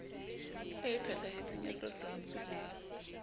e phethahetseng ya tlotlontswe le